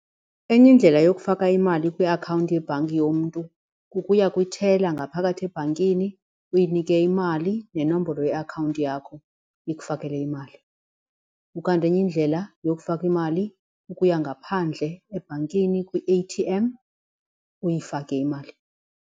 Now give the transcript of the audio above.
Enye indlela yokufaka imali kwiakhawunti yebhanki yomntu kukuya kwi-teller ngaphakathi ebhankini uyinike imali nenombolo yeakhawunti yakho ikufakela imali ukanti enye indlela yokufaka imali kukuya ngaphandle ebhankini kwi-A_T_M uyifake imali.